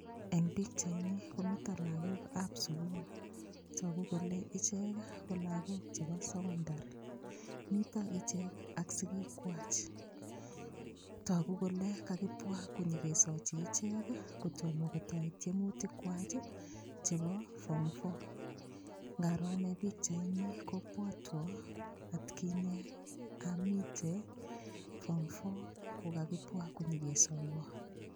Eng' pikchaini komito lakokab sukul toku kole ichek ko lakok chebo sokondar mito ichek ak sikikwach toku kole kakipwa konyikesochi ichek kotomo kotoi tiemutik kwach chebo form four ngaro ane pikchaini kopwotwo atkinye amite form four kokakipwa konyikesoiwo